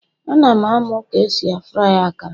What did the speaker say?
Ana m amu ka esi fry akara